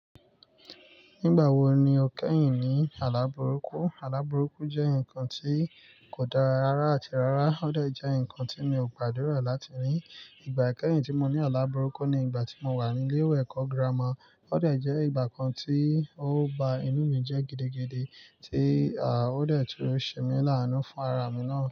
Nígbà wo ni o kẹ́yìn ní alábùrúkú? Alábùrúkú jẹ́ nǹkan tí kò dára rárá àti rárá. Ó de jẹ́ nǹkan tí mi ò gbàdúrà láti rí. Ìgbà kẹ́yìn tí mo ní alábùrúkú ni ìgbà tí mo wà ní ilé ẹ̀kọ́ girama. Ó de jẹ́ ìgbà kan tí ó ba inú mi jẹ́ gidigidi tí à ó dà tí ó ṣe mi láánú fún ara mi náà.